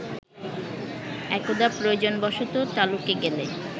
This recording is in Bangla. একদা প্রয়োজনবশত তালুকে গেলে